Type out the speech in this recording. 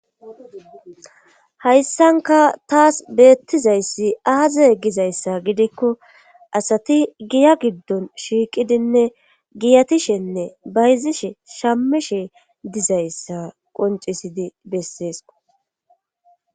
hayssanka taas beettizayssi aaze gizayssa gidikko asati giya giddon shiiqidinne giyatishenne bayzishe shamishe dizayssa qoncisidi besseesko